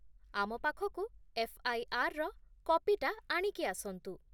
ଆମ ପାଖକୁ ଏଫ୍.ଆଇ.ଆର୍. ର କପିଟା ଆଣିକି ଆସନ୍ତୁ ।